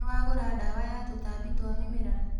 Nĩwagũra ndawa ya tũtambi twa mĩmera ?